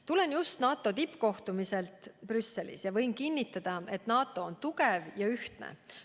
Tulen just NATO tippkohtumiselt Brüsselis ja võin kinnitada, et NATO on tugev ja ühtne.